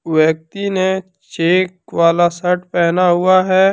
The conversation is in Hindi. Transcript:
व्यक्ति ने चेक वाला शर्ट पहना हुआ है।